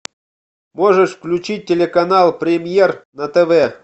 можешь включить телеканал премьер на тв